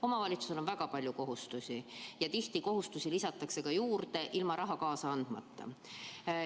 Omavalitsusel on väga palju kohustusi ja tihti lisatakse neid juurde, ilma et raha kaasa antaks.